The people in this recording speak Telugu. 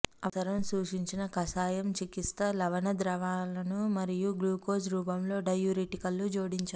అవసరం సూచించిన కషాయం చికిత్స లవణ ద్రావణాలను మరియు గ్లూకోజ్ రూపంలో డైయూరిటిక్లు జోడించారు